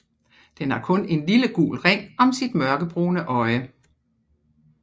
Den har kun en lille gul ring om sit mørkebrune øje